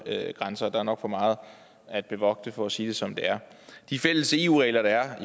grænser der er nok for meget at bevogte for at sige det som det er de fælles eu regler der er